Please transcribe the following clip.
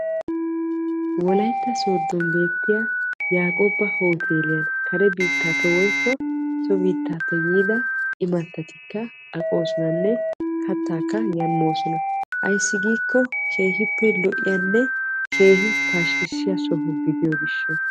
wolayitta sooddon beettiya yaaqoobba hoteeliyan kare biittaa so biittaappe yiida imattati aqoosonanne kattaakka yan moosona. ayissi giikko keehippe lo'iyanne keehi pashkkissiya soho gidiyo gishsha.